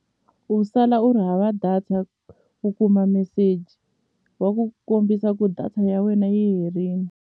U sala u ri hava data u kuma meseji wa ku kombisa ku data ya wena yi herini.